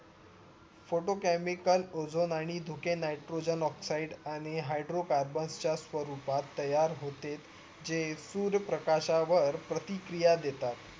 Photochemical Ozone आणि धुके Nitrogen Oxides आणि Hydrocarbon च्या स्वरूपात तयार होते जे तुर्य प्रकाश्यावर प्रतिकिया देतात